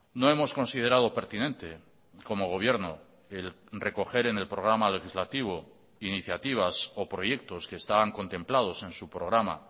no hemos considerado pertinente como gobierno el recoger en el programa legislativo iniciativas o proyectos que estaban contemplados en su programa